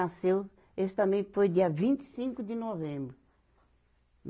Esse também foi dia vinte e cinco de novembro.